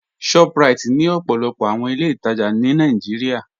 ShopRite ni òpó̩lópó̩ àwọn ilẹ̀-itaja ní Nàìjíríà.